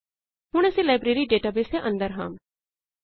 ਹੁਣ ਅਸੀਂ library database ਦੇ ਅੰਦਰ ਹਾਂ